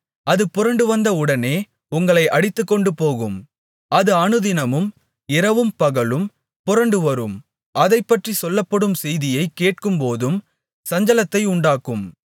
அது புரண்டுவந்த உடனே உங்களை அடித்துக்கொண்டுபோகும் அது அனுதினமும் இரவும்பகலும் புரண்டுவரும் அதைப்பற்றிச் சொல்லப்படும் செய்தியைக் கேட்கும்போதும் சஞ்சலத்தை உண்டாக்கும்